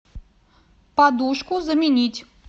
подушку заменить